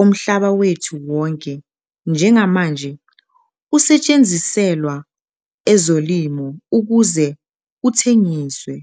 omhlaba wethu wonke njengamanje usetshenziselwa ezolimo ukuze kuthengiswe.